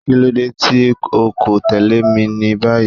Kilode ti o ko tẹle mi ni bayi!